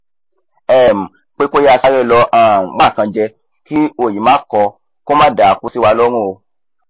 um pé kó yáa sáré lọ um wá nkan jẹ kí òyì má kọọ kó má dàákú síwa lọrùn o